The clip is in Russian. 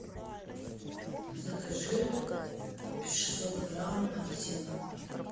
закажи шестьсот грамм апельсинов